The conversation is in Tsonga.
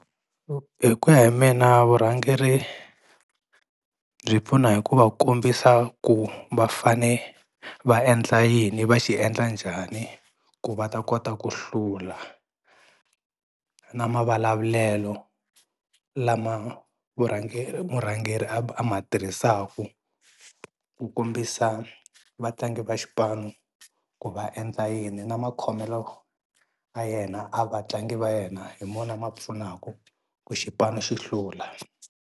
Hi ku ya hi mina vurhangeri byi pfuna hi ku va kombisa ku va fane va endla yini va xi endla njhani ku va ta kota ku hlula, na mavulavulelo lama murhangeri a ma tirhisaku ku kombisa vatlangi va xipano ku va endla yini na makhomelo ya yena ya vatlangi va yena hi wona ma pfunaka ku xipano xi hlula.